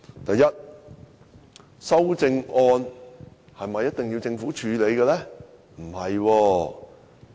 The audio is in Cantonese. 第一，修正案是否一定要政府處理？